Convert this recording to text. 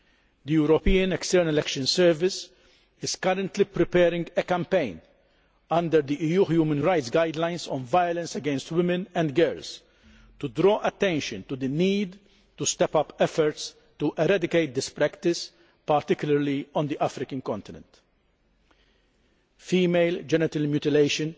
The European External Action Service is currently preparing a campaign, under the EU human rights guidelines on violence against women and girls, to draw attention to the need to step up efforts to eradicate this practice, particularly on the African continent. Female genital mutilation